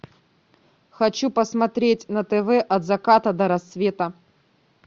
хочу посмотреть на тв от заката до рассвета